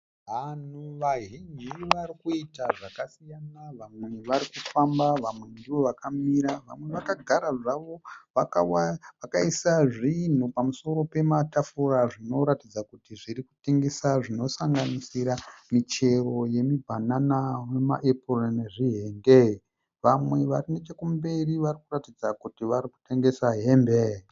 Vanhu vazhinji varikuita zvakasiyana. Vamwe varikufamba, vamwe ndovakamira. Vamwe vakagara zvavo vakaisa zvinhu pamusoro pematafura zvinoratidza kuti zvirikutengeswa. Zvinosanganisira michero yemibanana nema apple nezvi henge. Vamwe vari nechekumberi varikuratidza kuti varikutengesa hembe.